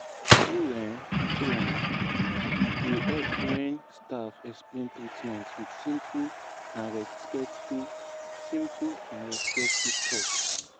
true um true e um dey help when staff explain treatment with simple and respectful simple and respectful talk.